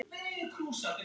Svipur mömmu